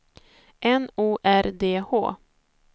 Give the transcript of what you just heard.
N O R D H